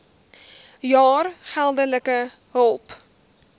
jaar geldelike hulp